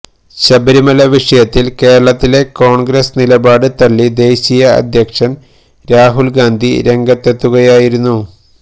ശബരിമല വിഷയത്തില് കേരളത്തിലെ കോണ്ഗ്രസ് നിലപാട് തള്ളി ദേശീയ അധ്യക്ഷന് രാഹുല് ഗാന്ധി രംഗത്തെത്തുകയായിരുന്നു